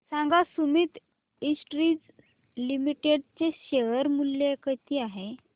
सांगा Sumeet industries limited चे share मूल्य किती आहे